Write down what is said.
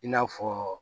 I n'a fɔ